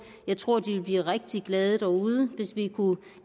jeg tror de ville blive rigtig glade derude hvis vi kunne